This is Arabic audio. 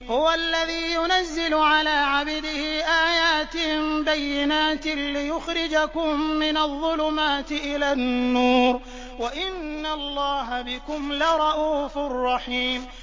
هُوَ الَّذِي يُنَزِّلُ عَلَىٰ عَبْدِهِ آيَاتٍ بَيِّنَاتٍ لِّيُخْرِجَكُم مِّنَ الظُّلُمَاتِ إِلَى النُّورِ ۚ وَإِنَّ اللَّهَ بِكُمْ لَرَءُوفٌ رَّحِيمٌ